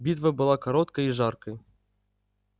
битва была короткой и жаркой